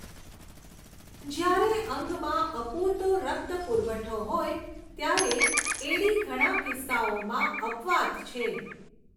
જ્યારે અંગમાં અપૂરતો રક્ત પુરવઠો હોય ત્યારે એડી ઘણા કિસ્સાઓમાં અપવાદ છે.